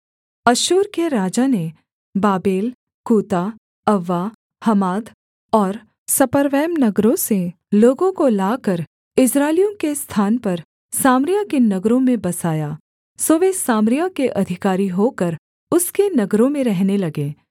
अश्शूर के राजा ने बाबेल कूता अव्वा हमात और सपर्वैम नगरों से लोगों को लाकर इस्राएलियों के स्थान पर सामरिया के नगरों में बसाया सो वे सामरिया के अधिकारी होकर उसके नगरों में रहने लगे